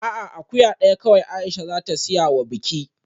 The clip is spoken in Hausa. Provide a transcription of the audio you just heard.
A'a, akuya daya kawai Aisha za ta siya wa biki